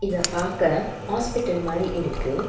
இத பாக்க ஹாஸ்பிடல் மாரி இருக்கு.